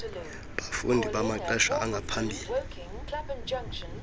bafundi bamaxesha angaphambili